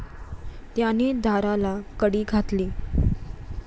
त्याने दाराला कडी घातली.